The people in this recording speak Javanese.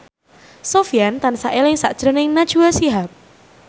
Sofyan tansah eling sakjroning Najwa Shihab